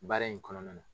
Baara in kɔnɔna na